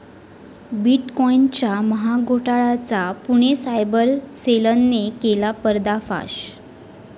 बिटकॉईनच्या महाघोटाळ्याचा पुणे सायबर सेलनं केला पर्दाफाश